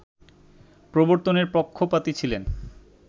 প্রবর্তনের পক্ষপাতী ছিলেন